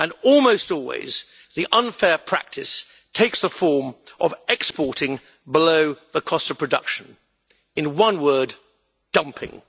Almost always, the unfair practice takes the form of exporting below the cost of production, in one word dumping'.